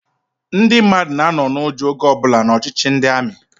Ndị mmadụ na-anọ n'ụjọ oge ọbụla n'ọchịchị ndị amị.